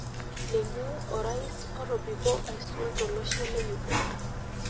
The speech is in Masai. Ninye orais otobiko aisul tolosho le Uganda.